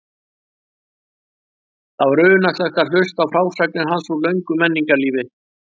Það var unaðslegt að hlusta á frásagnir hans úr löngu menningarlífi.